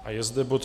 A je zde bod